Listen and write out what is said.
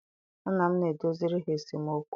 Nna m na-edoziri ha esemokwu.